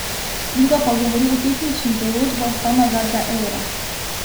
Druga pa govori o tehničnih določbah same uvedbe evra.